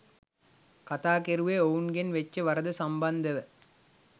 කතා කෙරුවේ ඔවුන්ගෙන් වෙච්ච වරද සම්බන්දව